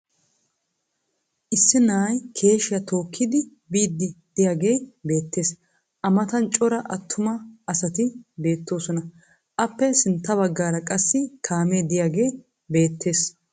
Issi na'ay keeshshiya tookkidi biiddi diyagee beettees. A matan cora attuma asati beettoosona. Aappe sintta baggaara qassi kaamee diyagee beettees.